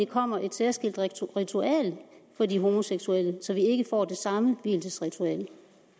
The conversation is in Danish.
kommer et særskilt ritual for de homoseksuelle så de ikke får det samme vielsesritual